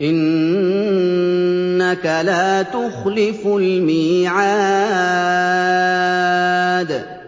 إِنَّكَ لَا تُخْلِفُ الْمِيعَادَ